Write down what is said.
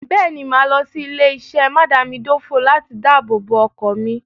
Bẹ́ẹ̀ ni, màá lọ sí ilé-iṣé mádàámidòfò láti dábòbò ọkọ̀ mi.